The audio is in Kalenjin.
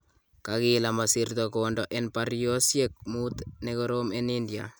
Kakeel amasirto kwoondo en baryoosyeek muut nekoroom en India.